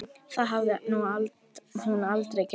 Það hafði hún aldrei gert.